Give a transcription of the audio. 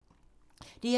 DR2